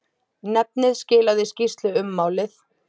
Nefnið skilaði skýrslu um málið.